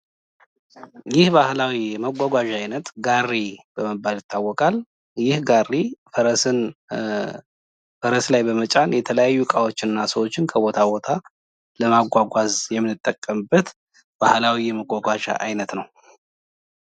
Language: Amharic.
ይህ የባህላዊ መጓጓዣ አይነት ጋሪ በመባል ይታወቃል። ይህ ጋሪ ፈረስ ላይ በመጫን የተለያዩ እቃዎችና ሰዎችን ከቦታ ቦታ ለማጓጓዝ የምንጠቀምበት ባህላዊ የመጓጓዣ አይነት ነው።